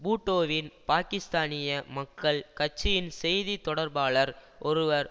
பூட்டோவின் பாக்கிஸ்தானிய மக்கள் கட்சியின் செய்தி தொடர்பாளர் ஒருவர்